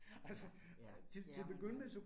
Ja, ja, ja men